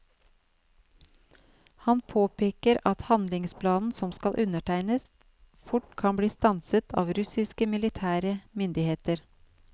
Han påpeker at handlingsplanen som skal undertegnes, fort kan bli stanset av russiske militære myndigheter.